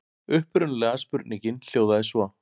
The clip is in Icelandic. Upprunalega spurningin hljóðaði svo: